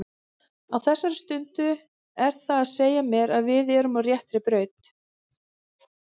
Á þessari stundu er það að segja mér að við erum á réttri braut.